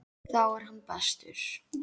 Þá er hann bestur.